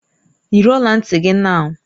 Yiri ọla ntị gị nau!